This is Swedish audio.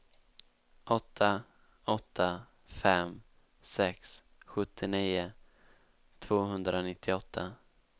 åtta åtta fem sex sjuttionio tvåhundranittioåtta